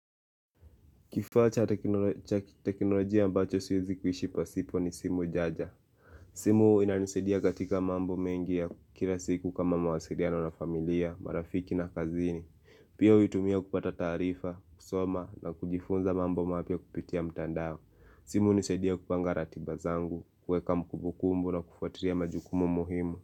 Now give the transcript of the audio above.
Kifaa cha teknolojia ambacho siwezi kuhishi pasipo ni simu jaja simu ina nisaidia katika mambo mengi ya kila siku kama mawasiliano na familia, marafiki na kazini Pia huitumia kupata taarifa, kusoma na kujifunza mambo mapya kupitia mtandao simu unisaidia kupanga ratiba zangu, kuweka mkumbukumbu na kufuatiria majukumu muhimu.